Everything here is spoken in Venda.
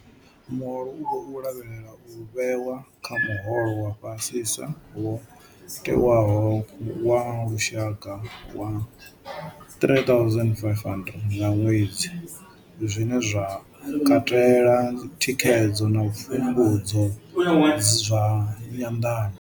Muholo u khou lavhelelwa u vhewa kha muholo wa fhasisa wo tewaho wa lushaka wa 3500 nga ṅwedzi, zwine zwa katela thikhedzo na pfumbudzo zwa nyanḓano.